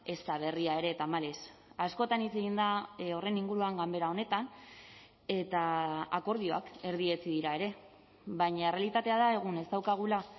ez da berria ere tamalez askotan hitz egin da horren inguruan ganbera honetan eta akordioak erdietsi dira ere baina errealitatea da egun ez daukagula